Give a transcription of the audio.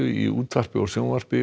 í útvarpi og sjónvarpi